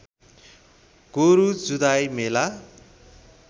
गोरु जुधाइ मेला